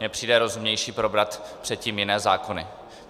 Mně přijde rozumnější probrat předtím jiné zákony.